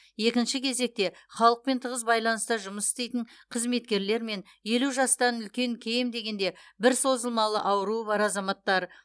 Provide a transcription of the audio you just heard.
екінші кезекте халықпен тығыз байланыста жұмыс істейтін қызметкерлер мен елу жастан үлкен кем дегенде бір созылмалы ауруы бар азаматтар